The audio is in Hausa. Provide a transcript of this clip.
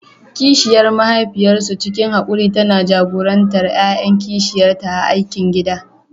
Kishiyar mahaifiyarsu, cikin haƙuri tana jagorantar ƴaƴan kishiyarta a aikin gida.